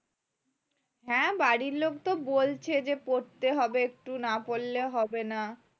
হ্যাঁ বাড়ির লোক তো বলছে যে পরতে হবে একটু না পড়লে হবে না